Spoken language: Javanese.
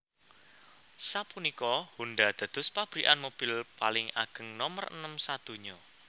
Sapunika Honda dados pabrikan mobil paling ageng nomer enem sadonya